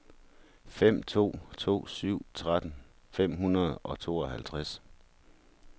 fem to to syv tretten fem hundrede og tooghalvtreds